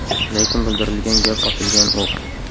Lekin bildirilgan gap otilgan o‘q.